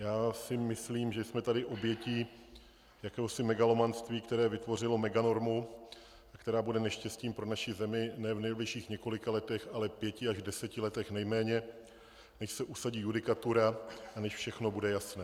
Já si myslím, že jsme tady obětí jakéhosi megalomanství, které vytvořilo meganormu, která bude neštěstím pro naši zemi nejen v nejbližších několika letech, ale pěti až deseti letech nejméně, než se usadí judikatura a než všechno bude jasné.